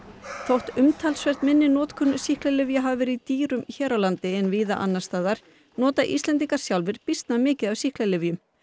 þótt umtalsvert minni notkun sýklalyfja hafi verið í dýrum hér á landi en víða annars staðar nota Íslendingar sjálfir býsna mikið af sýklalyfjum